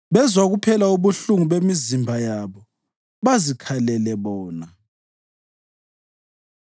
Bezwa kuphela ubuhlungu bemizimba yabo bazikhalele bona.”